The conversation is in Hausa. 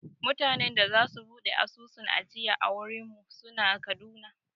Mutanen da za su buɗe asusun ajiya a wurin mu suna Kaduna